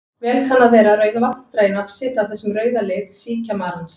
Vel kann að vera að Rauðavatn dragi nafn sitt af þessum rauða lit síkjamarans.